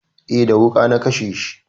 Eh, da wuƙa na kashe shi